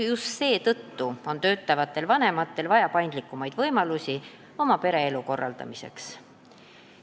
Just seetõttu on töötavatel vanematel vaja paindlikumaid võimalusi oma pereelu korraldamiseks.